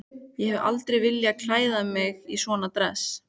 Ég hef aldrei viljað klæða mig í svona dress.